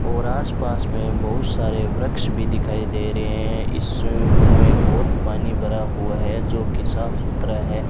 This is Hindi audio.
और आसपास में बहुत सारे वृक्ष भी दिखाई दे रहे हैं इस स्विमिंग पूल में बहोत पानी भरा हुआ है जो की साफ सुथरा है।